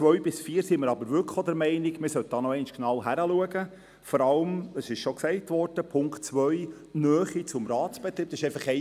Bei den Ziffern 2 bis 4 sollte man aber tatsächlich nochmals genau hinschauen, vor allem bei der Ziffer 2, der Nähe zum Ratsbetrieb.